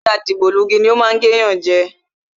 Ajá dìgbòlugi ni o má ń gé yan je